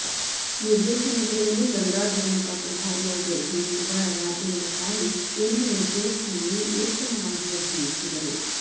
ನಿರ್ದೇಶನದೊಡನೆ ಗಂಗಾಧರನ ಪಾತ್ರಧಾರಿಯಾಗಿ ಅಭಿನಯಿಸಿದ ರಾಜೇಂದ್ರ ಕಾರಂತ್ ಎಂದಿನ ಜೋಷ್ನಲ್ಲಿ ಉತ್ತಮವಾಗಿ ಅಭಿನಯಿಸಿದರು